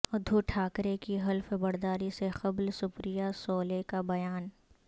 ادھو ٹھاکرے کی حلف برداری سے قبل سپریا سولے کا بیان